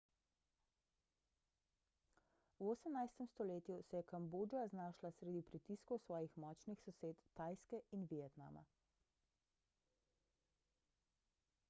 v 18 stoletju se je kambodža znašla sredi pritiskov svojih močnih sosed tajske in vietnama